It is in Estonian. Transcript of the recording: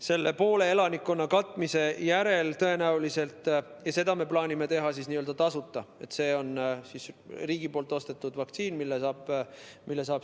Seda poole elanikkonna vaktsiiniga katmist me plaanime teha tasuta, see on riigi ostetud vaktsiin, mille saab tasuta.